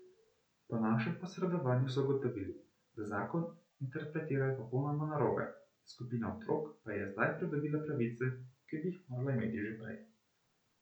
Po našem posredovanju so ugotovili, da zakon interpretirajo popolnoma narobe, skupina otrok pa je zdaj pridobila pravice, ki bi jih morala imeti že prej.